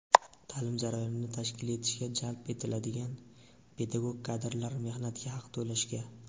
ta’lim jarayonini tashkil etishga jalb etiladigan pedagog kadrlar mehnatiga haq to‘lashga.